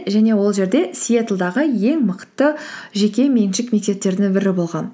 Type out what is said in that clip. және ол жерде сиетлдегі ең мықты жекеменшік мектептерінің бірі болған